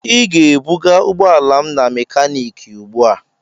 Ị ga-ebuga ụgbọala m na mekaniiki ugbu a!